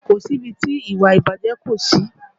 Kò sí ibi tí ìwà ìbàjẹ́ kò sí